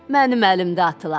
Mənim əlimdə atılar.